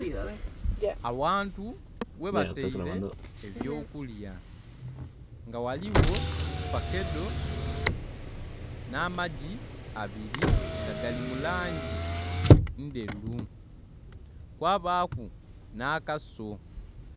Awantu ghebataire eby'okulya nga ghaligho fakedo n'amagi abiri nga gali mu langi ndheru kwabaaku n'akaso.